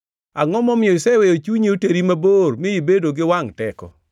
Angʼo momiyo iseweyo chunyi oteri mabor, mi ibedo gi wangʼ teko,